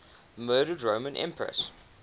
murdered roman empresses